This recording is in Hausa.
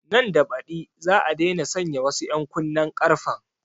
Nan da baɗi za a daina sanya wasu ƴan kunnen ƙarfen